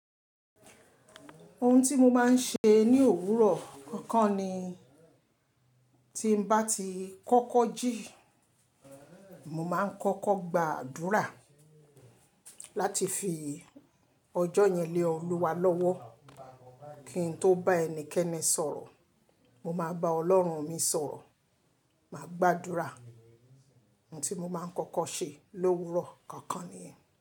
Ohun tí mo máa ń ṣe ní òwúrọ̀ kọ̀ọ̀kan ni tí n bá ti kọ́kọ́ jí, mo máa ń kọ́kọ́ gbàdúrà láti fi ọjọ́ yẹn lé Olúwa lọ́wọ́ kí n tó bá ẹnikẹ́ni sọ̀rọ̀. Mo máa bá Ọlọ́run mi sọ̀rọ̀, màá gbàdúrà. Ohun tí mo máa ń kọ́kọ́ ṣe lówúrọ̀ kọ̀ọ̀kan nìyẹn.